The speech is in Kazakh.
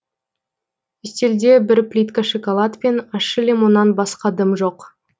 үстелде бір плитка шоколад пен ащы лимоннан басқа дым жоқ